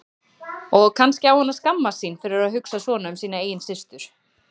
Og kannski á hann að skammast sín fyrir að hugsa svona um sína eigin systur.